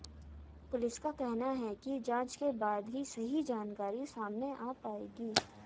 police का कहना है की जांच के बाद ही सही जानकारी सामने आ पाएगी